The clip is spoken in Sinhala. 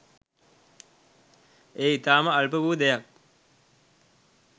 එය ඉතාම අල්ප වූ දෙයක්.